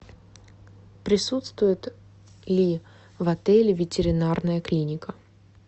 присутствует ли в отеле ветеринарная клиника